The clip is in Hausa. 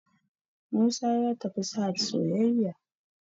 musa ya tafi sahad soyayya